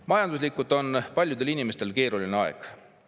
Majanduslikult on paljudel inimestel keeruline aeg.